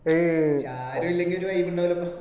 ഏയ് ഷാരു ഇല്ലെങ്കിലും ഒരു vibe ഇണ്ടാവൂലപ്പ